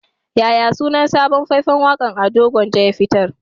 Yaya sunan sabon fai-fan waƙa da Ado Gwanja ya fitar?